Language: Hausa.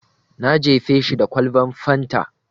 Na jefe shi da kwalban fanta.